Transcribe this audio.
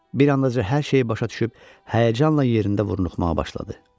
Bir an dacı hər şeyi başa düşüb həyəcanla yerində vurnuxmağa başladı.